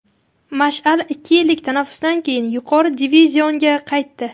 "Mash’al" ikki yillik tanaffusdan keyin yuqori divizionga qaytdi.